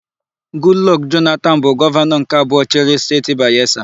Gudlọkụ Jonatanu bụ gọvanọ nke abụọ chịrị Steeti Bayesa.